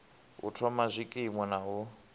u thoma zwikimu na u